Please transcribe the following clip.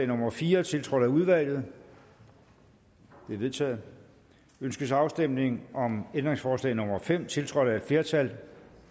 nummer fire tiltrådt af udvalget det er vedtaget ønskes afstemning om ændringsforslag nummer fem tiltrådt af et flertal